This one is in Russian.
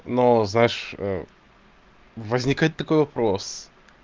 но знаешь возникает такой вопрос